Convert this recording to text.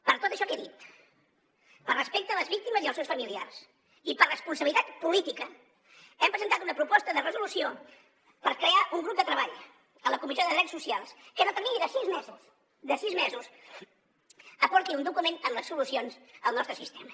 per tot això que he dit per respecte a les víctimes i als seus familiars i per responsabilitat política hem presentat una proposta de resolució per crear un grup de treball a la comissió de drets socials que en el termini de sis mesos de sis mesos aporti un document amb les solucions al nostre sistema